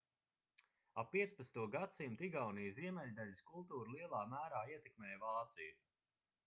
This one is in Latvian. ap 15. gadsimtu igaunijas ziemeļdaļas kultūru lielā mērā ietekmēja vācija